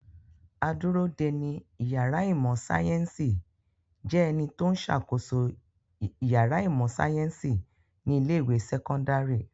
Adúródeni ìyàrá ìmọ̀-sáyẹ́ńsì jẹ́ ẹni tó ń ṣàkóso ìyàrá ìmọ̀-sáyẹ́ńsì ní ilé-ìwé sẹ́kọ́ndárì.